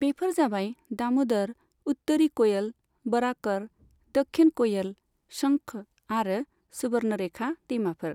बेफोर जाबाय दामोदर, उत्तरी कोयल, बराकर, दक्षिण कोयल, शंख आरो सुवर्णरेखा दैमाफोर।